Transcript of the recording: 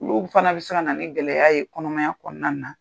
Olu fana bɛ se ka na ni gɛlɛya ye kɔnɔmaya kɔnɔna na.